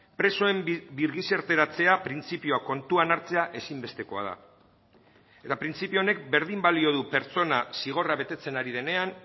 presoen birgizarteratzea printzipioa kontuan hartzea ezinbestekoa da eta printzipio honek berdin balio du pertsona zigorra betetzen ari denean